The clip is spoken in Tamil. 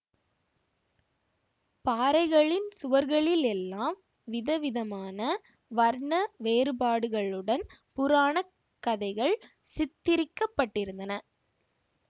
பாறைகளின் சுவர்களிலெல்லாம் விதவிதமான வர்ண வேறுபாடுகளுடன் புராணக் கதைகள் சித்திரிக்க பட்டிருந்தன